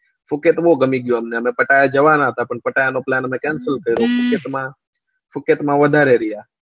સુકેત બવ ગમી ગયું અમને જવાના હતા પણ plan અમે cancel કર્યો પછી અમે સુકેત માં વધારે રહ્યા